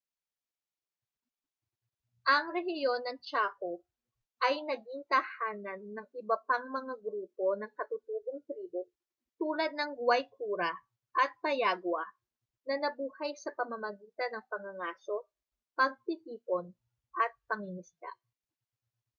ang rehiyon ng chaco ay naging tahanan ng iba pang mga grupo ng katutubong tribo tulad ng guaycura at payagua na nabuhay sa pamamagitan ng pangangaso pagtitipon at pangingisda